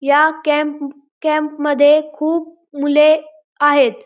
या camp camp मध्ये खूप मुले आहेत.